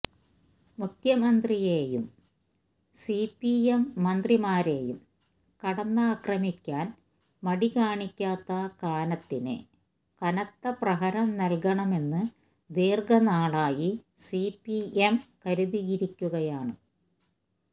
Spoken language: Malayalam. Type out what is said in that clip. മുഖ്യമന്ത്രിയെയും സിപിഎം മന്ത്രിമാരെയും കടന്നാക്രമിക്കാന് മടികാണിക്കാത്ത കാനത്തിന് കനത്ത പ്രഹരം നല്കണമെന്ന് ദീര്ഘനാളായി സിപിഎം കരുതിയിരിക്കുകയാണ്